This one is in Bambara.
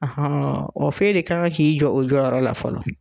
Ahɔn o fɛ de kan ka k'i jɔ o jɔyɔrɔ la fɔlɔ.